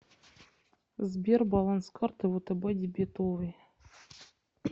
сбер баланс карты втб дебетовой